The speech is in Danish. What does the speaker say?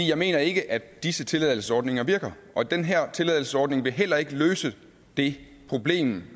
jeg mener ikke at disse tilladelsesordninger virker og den her tilladelsesordning vil heller ikke løse det problem